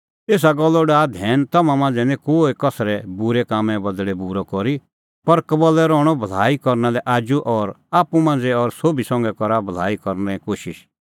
एसा गल्लो डाहै धैन तम्हां मांझ़ै निं कोहै कसरै बूरै कामें बदल़ै बूरअ करी पर कबल्लै रहणअ भलाई करना लै आजू और आप्पू मांझ़ै और सोभी संघै करा भलाई करने कोशिश